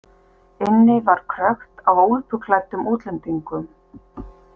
Inni var krökkt af úlpuklæddum útlendingum.